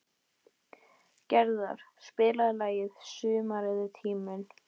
Gerðar, spilaðu lagið „Sumarið er tíminn“.